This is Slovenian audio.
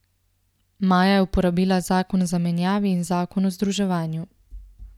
Maja je uporabila zakon o zamenjavi in zakon o združevanju.